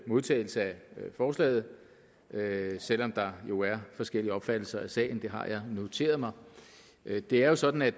modtagelse af forslaget selv om der jo er forskellige opfattelser af sagen det har jeg noteret mig det er jo sådan at